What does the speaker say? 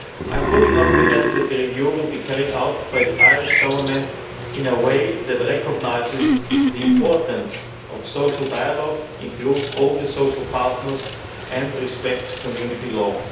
I am fully confident that the review will be carried out by the Irish Government in a way that recognises the importance of social dialogue, includes all the social partners, and complies with Community